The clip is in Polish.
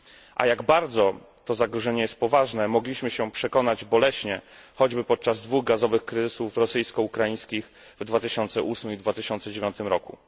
A jak bardzo to zagrożenie jest poważne, mogliśmy się przekonać boleśnie choćby podczas dwóch gazowych kryzysów rosyjsko ukraińskich w 2008 i 2009 roku.